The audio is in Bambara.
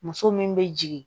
Muso min bɛ jigin